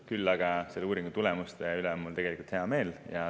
Küll aga on mul selle uuringu tulemuste üle hea meel.